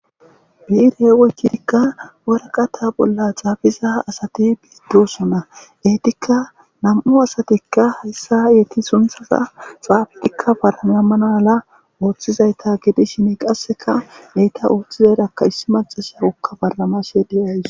biirhe woycidikka woraqata bolla caabiza asati biiddosona eetikka nam7u asatikka hayssa yeeti sunthaza xaabetikka baranamanaala ooththizayta gidishin qasseka deyta ooththizayrakka issi macasa ukka baramashe deyays